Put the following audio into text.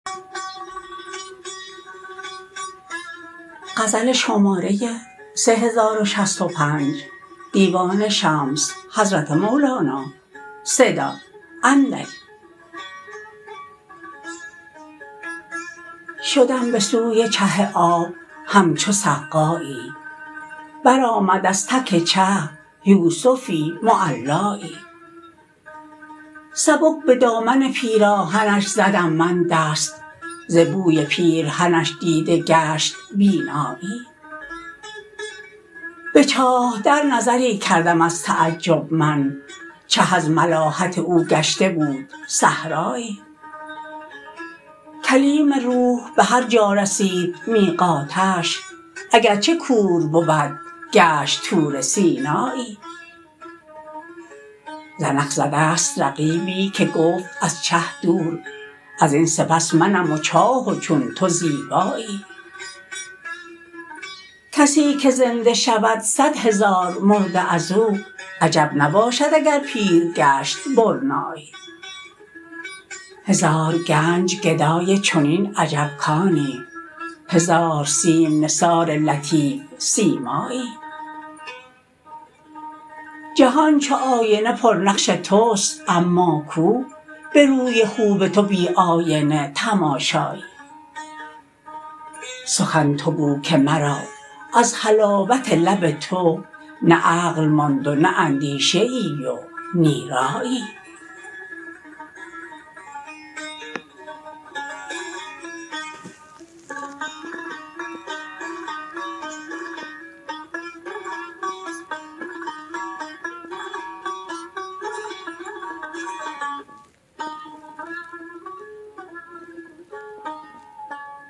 شدم به سوی چه آب همچو سقایی برآمد از تک چه یوسفی معلایی سبک به دامن پیراهنش زدم من دست ز بوی پیرهنش دیده گشت بینایی به چاه در نظری کردم از تعجب من چه از ملاحت او گشته بود صحرایی کلیم روح به هر جا رسید میقاتش اگر چه کور بود گشت طور سینایی زنخ ز دست رقیبی که گفت از چه دور از این سپس منم و چاه و چون تو زیبایی کسی که زنده شود صد هزار مرده از او عجب نباشد اگر پیر گشت برنایی هزار گنج گدای چنین عجب کانی هزار سیم نثار لطیف سیمایی جهان چو آینه پرنقش توست اما کو به روی خوب تو بی آینه تماشایی سخن تو گو که مرا از حلاوت لب تو نه عقل ماند و نه اندیشه ای و نی رایی